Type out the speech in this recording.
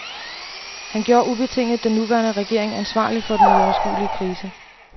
Han gjorde ubetinget den nuværende regering ansvarlig for den uoverskuelige krise.